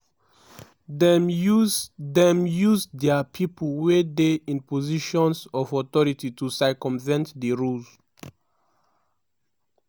officials for im goment say e no dey um clear weda di school owner wey don die eva um get construction permit for di site.